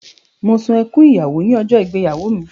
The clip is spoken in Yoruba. Mo sun ẹkún ìyàwó ní ọjọ́ ìgbéyàwó mi.